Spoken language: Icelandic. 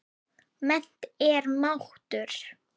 Mennt er máttur.